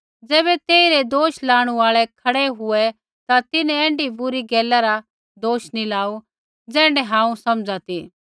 ज़ैबै तेइरै दोष लाणु आल़ै खड़ै हुऐ ता तिन्हैं ऐण्ढी बुरी गैला रा दोष नी लाऊ ज़ैण्ढा हांऊँ समझ़ा ती